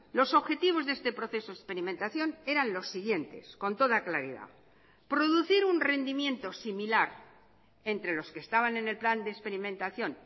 los objetivos de este proceso experimentación eran los siguientes con toda claridad producir un rendimiento similar entre los que estaban en el plan de experimentación